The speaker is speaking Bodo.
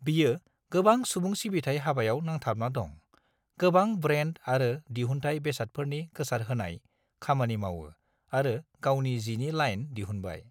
बियो गोबां सुबुं सिबिनाय हाबायाव नांथाबना दं, गोबां ब्रेन्द आरो दिहुनथाय बेसादफोरनि गोसारहोनाय खामानि मावो आरो गावनि जिनि लाइन दिहुनबाय।